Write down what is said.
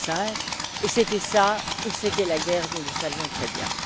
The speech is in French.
2005. C'était cela ou c'était la guerre, nous le savions très bien.